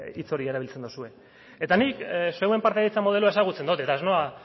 hitz hori erabiltzen duzue eta nik zeuen partaidetza modeloa ezagutzen dut eta ez noa